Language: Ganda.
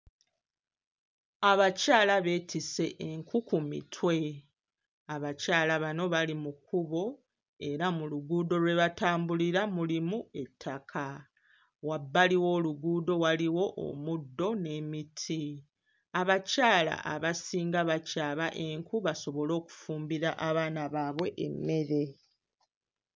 Abakyala beetisse enku ku mitwe, abakyala bano bali mu kkubo era mu luguudo lwe batambulira mulimu ettaka, wabbali w'oluguudo waliwo omuddo n'emiti. Abakyala abasinga bakyaba enku basobole okufumbira abaana baabwe emmere.